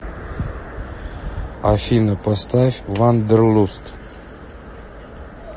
афина поставь вандерлуст